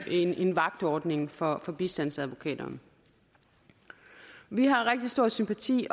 en vagtordning for for bistandsadvokater vi har rigtig stor sympati